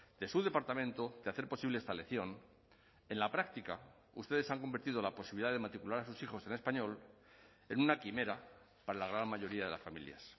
de su departamento de hacer posible esta elección en la práctica ustedes han convertido la posibilidad de matricular a sus hijos en español en una quimera para la gran mayoría de las familias